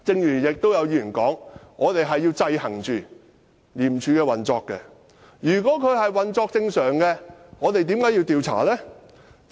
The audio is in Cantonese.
也有議員說，我們要制衡廉署的運作，但如果廉署運作正常，我們為何要調查？